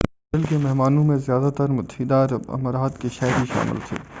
hostel کے مہمانوں میں زیادہ تر متحدہ عرب امارات کے شہری شامل تھے